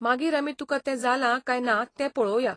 मागीर आमी तुकां तें जालां कांय ना तें पळोवया.